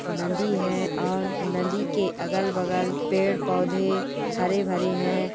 नदी है और नदी के अगल-बगल पेड़-पौधे हरे-भरे हैं।